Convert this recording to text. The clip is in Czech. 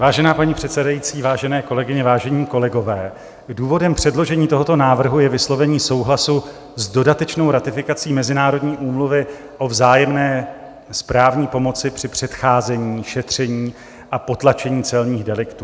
Vážená paní předsedající, vážené kolegyně, vážení kolegové, důvodem předložení tohoto návrhu je vyslovení souhlasu s dodatečnou ratifikací Mezinárodní úmluvy o vzájemné správní pomoci při předcházení, šetření a potlačení celních deliktů.